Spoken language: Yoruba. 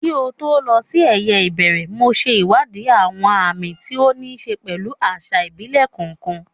Kí n tó lọ sí eyeìbẹ̀rẹ̀, mo ṣe ìwádìí àwọn àmì tí ó ní í ṣe pẹ̀lú àṣà ìbílẹ̀ kọ̀ọ̀kan.